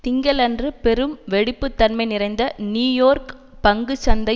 திங்களன்று பெரும் வெடிப்பு தன்மை நிறைந்த நியூ யோர்க் பங்கு சந்தை